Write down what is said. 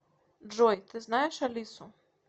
джой ты знаешь алису